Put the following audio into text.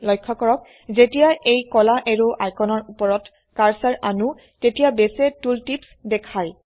লক্ষ্য কৰক যেতিয়া এই কলা এৰো আইকনৰ উপৰত কাৰ্সাৰ আনো তেতিয়া বেসে টুল টিপস দেখায়